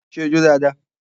Ṣé o jó dáadáa?